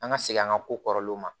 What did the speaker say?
An ka segin an ka ko kɔrɔlenw ma